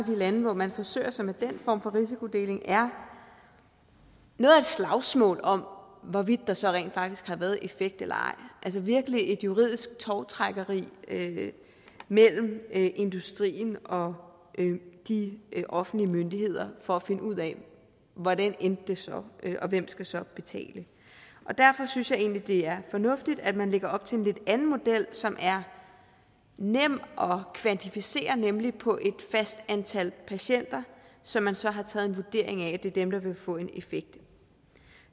de lande hvor man forsøger sig med den form for risikodeling er noget af et slagsmål om hvorvidt der så rent faktisk har været en effekt eller ej altså virkelig et juridisk tovtrækkeri mellem industrien og de offentlige myndigheder for at finde ud af hvordan det så endte og hvem skal så betale derfor synes jeg egentlig det er fornuftigt at man lægger op til en lidt anden model som er nem at kvantificere nemlig på et fast antal patienter som man så har taget en vurdering af er dem der vil få en effekt